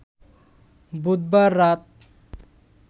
বুধবার রাত